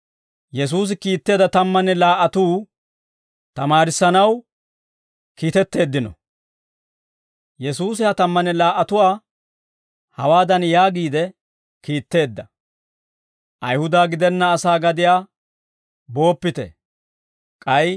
Yesuusi ha tammanne laa"atuwaa hawaadan yaagiide kiitteedda; «Ayihuda gidenna asaa gadiyaa booppite; k'ay Samaaretuwaa katamaakka geloppite;